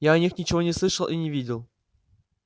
я о них ничего не слышал и не видел